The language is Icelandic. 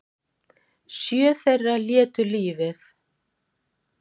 Sjö þeirra létu lífið